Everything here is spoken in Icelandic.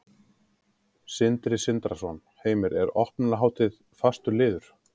Sindri Sindrason: Heimir, er opnunarhátíð fastur liður?